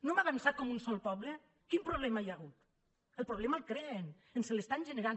no hem avançat com un sol poble quin problema hi ha hagut el problema el creen ens l’estan generant